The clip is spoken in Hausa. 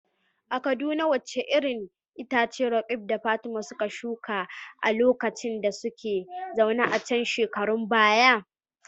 A Kaduna wace irin itace Roqeeb da Fatima suka shuka a lokacin da suka zauna a can shekarun baya?